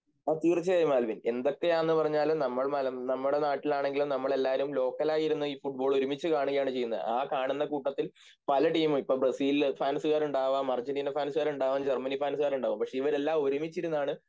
തീർച്ചയായും ആൽവിൻ എന്തൊക്കെയാന്ന് പറഞ്ഞാലും നമ്മൾ നമ്മുടെ നാട്ടിലാണെങ്കിലും നമ്മളെല്ലാരും ലോക്കലായിരുന്നു ഈ ഫുട്‍ബോൾ ഒരുമിച്ചുകാണുകയാണ് ചെയ്യുന്നത് ആ കാണുന്ന കൂട്ടത്തിൽ പല ടീമ് ഇപ്പോൾ ബ്രസീൽഫാന്സുകാരുണ്ടാവാം അർജൻറീന ഫാന്സുകാരുണ്ടാവാം ജർമനി ഫാന്സുകാരുണ്ടാവും പക്ഷെ ഇവരെല്ലാം ഒരുമിച്ചിരുന്നാണ്